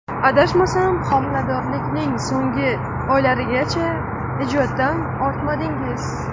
Adashmasam, homiladorlikning so‘nggi oylarigacha ijoddan ortmadingiz?